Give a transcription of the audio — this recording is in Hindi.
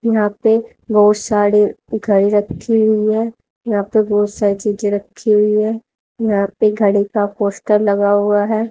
यहां पे बहोत साड़ी घड़ी रखी हुई है यह पे बहोत सारी चीजें रखी हुई है यहां पे घड़ी का पोस्टर लगा हुआ है।